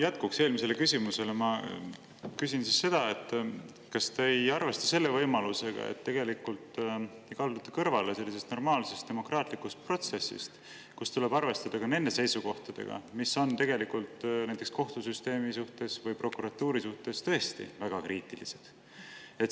Jätkuks eelmisele küsimusele ma küsin seda, kas te ei arvesta selle võimalusega, et tegelikult te ju kaldute kõrvale normaalsest demokraatlikust protsessist, kus tuleb arvestada ka nende seisukohtadega, mis on näiteks kohtusüsteemi või prokuratuuri suhtes tõesti väga kriitilised.